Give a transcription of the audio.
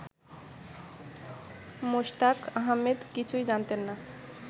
মোশতাক আহমেদ কিছুই জানতেন না